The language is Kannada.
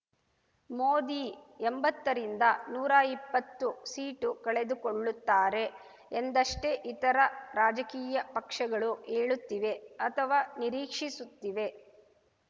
ಮೋದಿ ಎಂಬತ್ತರಿಂದ ನೂರಾ ಇಪ್ಪತ್ತು ಸೀಟು ಕಳೆದುಕೊಳ್ಳುತ್ತಾರೆ ಎಂದಷ್ಟೇ ಇತರ ರಾಜಕೀಯ ಪಕ್ಷಗಳು ಹೇಳುತ್ತಿವೆ ಅಥವಾ ನಿರೀಕ್ಷಿಸುತ್ತಿವೆ